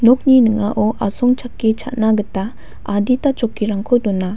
nokni ning·ao asongchake cha·na gita adita chokkirangko dona.